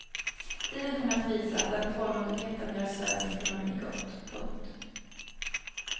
Tiden kommer att visa att den tålmodigheten gör svensk ekonomi gott. punkt